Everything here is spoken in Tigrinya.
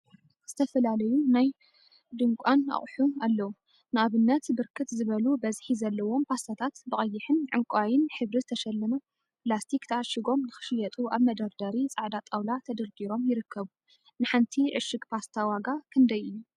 ዝተፈላለዩ ናይ ድንቋን አቁሑ አለው፡፡ ንአብንት ብርክት ዝበሉ በዝሒ ዘለዎም ፓስታታት ብቀይሕን ዕንቋይን ሕብሪ ተሸለመ ላስቲክ ተዓሺጎም ንክሽየጡ አብ መደርደሪ ፃዕዳ ጣውላ ተደርዲሮም ይርከቡ፡፡ ንሓንቲ ዕሽግ ፓስታ ዋጋ ክንደይ እዩ?